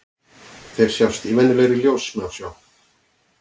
Þeir sjást í venjulegri ljóssmásjá.